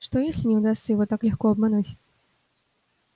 что если не удастся его так легко обмануть